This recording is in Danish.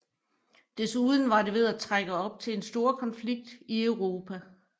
Desuden var det ved at trække op til en storkonflikt i Europa